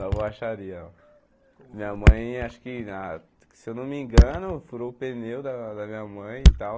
Na borracharia, ó. Minha mãe, acho que na... Se eu não me engano, furou o pneu da da minha mãe e tal.